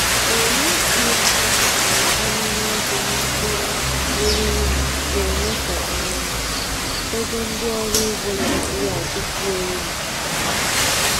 Owu GMO na-abawanye ogo na mkpụrụ eriri, na-eme ka um ego ndị ọrụ ugbo Naijiria dịkwuo elu.